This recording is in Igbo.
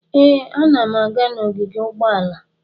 Ee, ana m aga n'ogige ụgbọala.